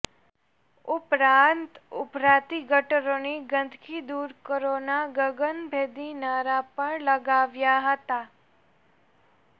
ઉપરાંત ઉભરાતી ગટરોની ગંદકી દૂર કરો ના ગગનભેદી નારા પણ લગાવ્યા હતા